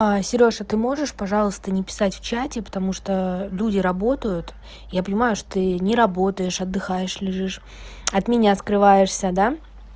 серёж а ты можешь пожалуйста не писать в чате потому что люди работают я понимаю что ты не работаешь отдыхаешь лежишь от меня скрываешься да